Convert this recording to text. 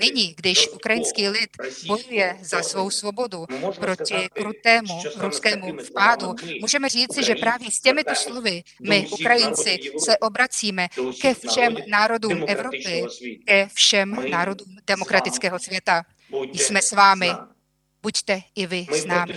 Nyní, když ukrajinský lid bojuje za svou svobodu proti krutému ruskému vpádu, můžeme říci, že právě s těmito slovy my Ukrajinci se obracíme ke všem národům Evropy, ke všem národům demokratického světa: Jsme s vámi, buďte i vy s námi!